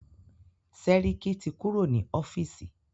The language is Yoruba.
Sẹ́ríkí ti kúrò ní ọ́fìsì.